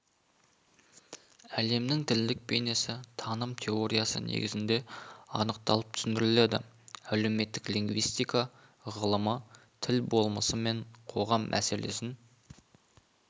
әлемнің тілдік бейнесі таным теориясы негізінде анықталып түсіндіріледі әлеуметтік лингвистика ғылымы тіл болмысы мен қоғам мәселесін